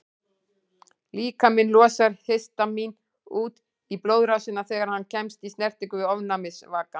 Líkaminn losar histamín út í blóðrásina þegar hann kemst í snertingu við ofnæmisvaka.